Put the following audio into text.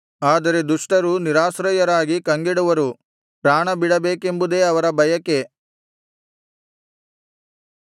ಆದರೆ ದುಷ್ಟರು ನಿರಾಶ್ರಯರಾಗಿ ಕಂಗೆಡುವರು ಪ್ರಾಣಬಿಡಬೇಕೆಂಬುದೇ ಅವರ ಬಯಕೆ